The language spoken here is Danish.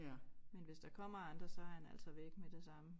Men hvis der kommer andre så han altså væk med det samme